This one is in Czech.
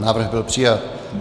Návrh byl přijat.